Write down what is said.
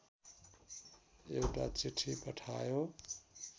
एउटा चिठी पठायो